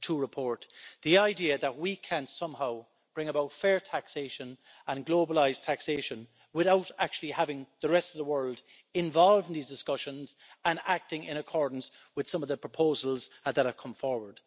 2.0 report the idea that we can somehow bring about fair taxation and globalised taxation without actually having the rest of the world involved in these discussions and acting in accordance with some of the proposals that have come forward.